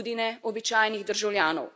In tudi ne običajnih državljanov.